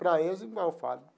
Para eles, igual eu falo.